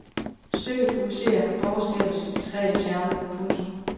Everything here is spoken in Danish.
Stykket fokuserer på borgerskabets diskrete charme. punktum